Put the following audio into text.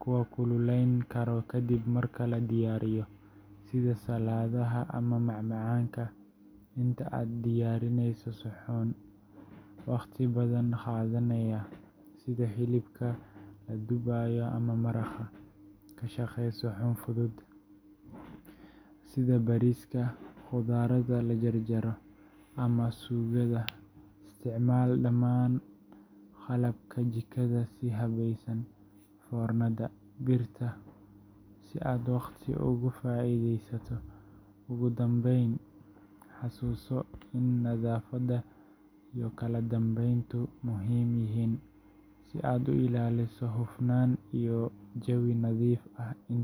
kuwa kululayn kara kadib marka la diyaariyo, sida saladaha ama macmacaanka. Inta aad diyaarineyso suxuun waqti badan qaadanaya sida hilibka la dubayo ama maraqa, ka shaqee suxuun fudud sida bariiska, khudradda la jarjarayo, ama suugada. Isticmaal dhamaan qalabka jikada si habaysan foornada, birta, blender si aad waqti uga faa’iidaysato. Ugu dambeyn, xasuuso in nadaafadda iyo kala dambeyntu muhiim yihiin, si aad u ilaaliso hufnaan iyo jawi nadiif ah iin.